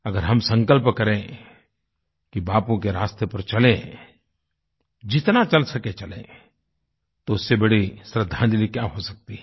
अगर हम संकल्प करें कि बापू के रास्ते पर चलें जितना चल सके चलें तो उससे बड़ी श्रद्दांजलि क्या हो सकती है